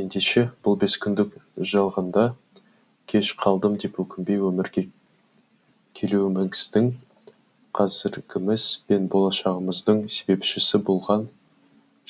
ендеше бұл бес күндік жалғанда кеш қалдым деп өкінбей өмірге келуіміздің қазіргіміз бен болашағымыздың себепшісі болған